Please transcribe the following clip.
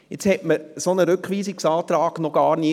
Nun hatte man einen solchen Rückweisungsantrag noch gar nie.